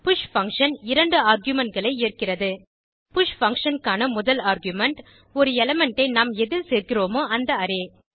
push function 2 argument களை ஏற்கிறது push function க்கான முதல் ஆர்குமென்ட் ஒரு எலிமெண்ட் ஐ நாம் எதில் சேர்க்கிறோமோ அந்த அரே